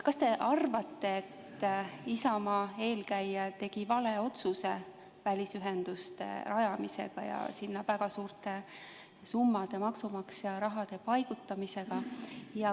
Kas te arvate, et Isamaa eelkäija tegi vale otsuse välisühenduste rajamisega ja sinna väga suurte summade maksumaksja raha paigutamisega?